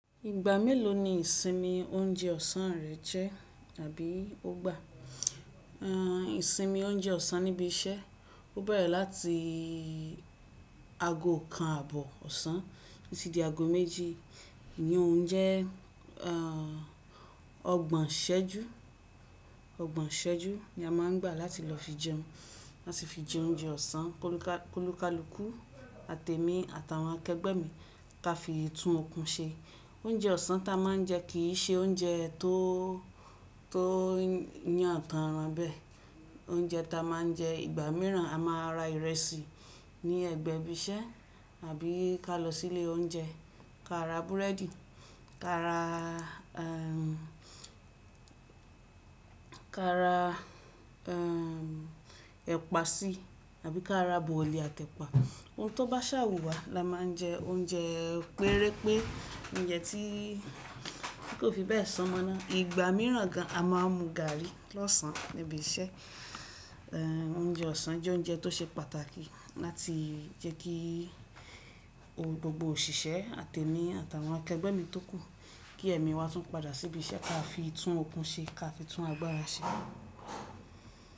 Ìgbà mélòó ni ìsinmi oúnjẹ ọ̀sán rẹ jẹ́, tàbí o gbà? Ìsinmi oúnjẹ ọ̀sán níbi iṣẹ́, o bẹ̀rẹ̀ láti ago kan àbọ̀ ọ̀sán títí di ago méjì. Iyi o un jẹ, ọgbọ̀n iṣẹ́jú. Ọgbọ̀n iṣẹ́jú ni a máa ń gbà láti lọ fi jẹun. Láti fi jẹ oúnjẹ ọ̀sán, ki òlùkàlùkù àti ẹmi, àti àwọn akẹgbẹ́ mi ká fi ì tún oòkun ṣe. Oúnjẹ ọ̀sán tí a máa ń jẹ kì í ṣe oúnjẹ tó yàn tan ran bee. Oúnjẹ tí a máa ń jẹ, ìgbà mìíràn, a máa ra ìrẹsì ní ẹ̀gbẹ́ ibi iṣẹ́, àbí ká lọ sí ilé oúnjẹ ká ra búrẹ́dì, ká ra ká ra ẹ̀pà sí, àbí ká ra bọ̀lì àti epa. Ohun tó bá ṣà wù wá la máa ń jẹ, oúnjẹ péré pé, oúnjẹ tí kò fi bẹ́ẹ̀ san mọna. Ìgbà mìíràn gan, a máa ń mu gàrí lọ́sàn níbi iṣẹ́. Oúnjẹ ọ̀sán jẹ́ oúnjẹ tó ṣe pàtàkì láti jẹ́ kí gbogbo òṣìṣẹ́, àti ẹmi, àti àwọn akẹgbẹ́ mi tó kù, kí ẹ̀mí wa tún padà sí ibi iṣẹ́, káa fi tún oòkun ṣe, kaá fi tún agbára ṣe.